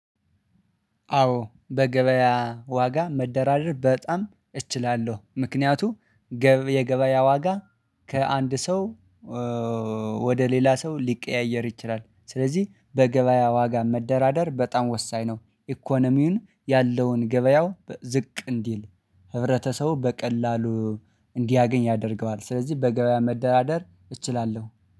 አዎ በገበያ ዋጋ መደራደር በጣም እችላለሁ። ምክንያቱም የገበያ ዋጋ ከአንድ ሰው ወደ ሌላ ሰው ሊቀያየር ይችላል። ስለዚህ በገበያ ዋጋ መደራደር በጣም ወሳኝ ነው። ኢኮኖሚውን ያለውን ገበያው በዝቅ እንዲል ህብረተሰቡ በቀላሉ እንዲያገኝ ያደርገዋል። ስለዚህ በገበያ መደራደር እችላለሁ